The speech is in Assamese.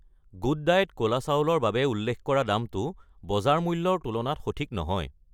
গুড ডায়েট ক'লা চাউল ৰ বাবে উল্লেখ কৰা দামটো বজাৰ মূল্যৰ তুলনাত সঠিক নহয়।